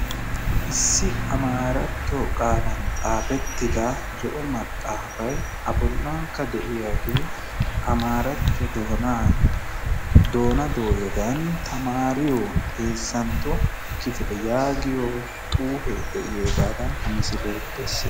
Issi amaaratto qaalan xaafettida zo'o maxaafay a bolankka de'iyaagee amaaratto doona dooyadan tamaariyo heezzantto kifile yaagiyo xuufee de'iyoogadan ha misilee bessees.